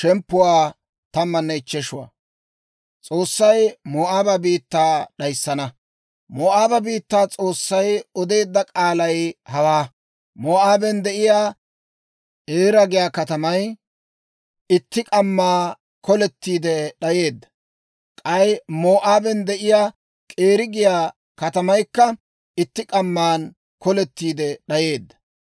Moo'aaba biittaw S'oossay odeedda k'aalay hawaa: Moo'aaben de'iyaa Eera giyaa katamay itti k'amma kolettiide d'ayeedda; k'ay Moo'aaben de'iyaa K'iira giyaa katamaykka itti k'amma kolettiide d'ayeedda.